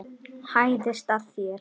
Hæðist að þér.